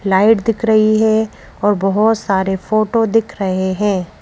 Light दिख रही है और बहुत सारे फोटो दिख रहे हैं।